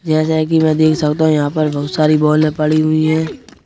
जैसे कि मैं देख सकता हूं यहाँ पर बहुत सारी बॉले पड़ी हुई हैं।